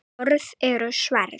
Orð eru sverð.